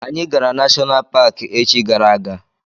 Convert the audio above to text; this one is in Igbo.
Anyị gara nashonal paki echi gara aga.